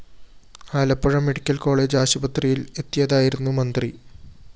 Alappuzha medical college ആശുപത്രിയില്‍ എത്തിയതായിരുന്നു മന്ത്രി